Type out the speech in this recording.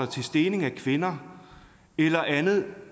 til stening af kvinder eller andet